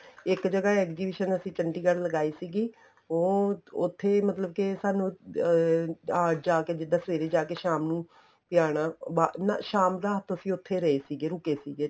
ਇੱਕ ਜਗ੍ਹਾ ਅਸੀਂ exhibition ਚੰਡੀਗੜ੍ਹ ਲਗਾਈ ਸੀਗੀ ਉਹ ਉੱਥੇ ਮਤਲਬ ਕੇ ਸਾਨੂੰ ਅਹ ਆ ਜਾਕੇ ਜਿੱਦਾਂ ਸਵੇਰੇ ਜਾਕੇ ਸ਼ਾਮ ਨੂੰ ਆਣਾ ਨਾ ਸ਼ਾਮ ਰਾਤ ਨੂੰ ਅਸੀਂ ਉੱਥੇ ਰਹੇ ਸੀਗੇ ਰੁਕੇ ਸੀਗੇ